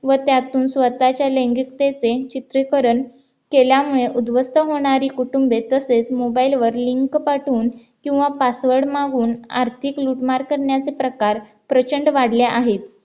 व त्यातून स्वतःच्या लैंगिकतेचे चित्रकरण केल्यामुळे उद्ध्वस्त होणारी कुटुंबे तसेच mobile वर लिंक पाठवून किंवा password मागून आर्थिक लूटमार करण्याचे प्रकार प्रचंड वाढले आहेत